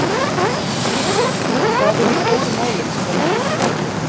Heimir Már: Hvað eru stóru málin sem að verður tekist á um?